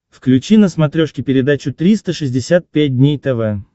включи на смотрешке передачу триста шестьдесят пять дней тв